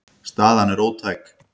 Staðan sé ótæk.